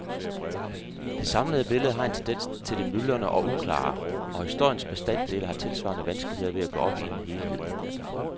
Det samlede billede har en tendens til det myldrende og uklare, og historiens bestanddele har tilsvarende vanskeligheder ved at gå op i en helhed.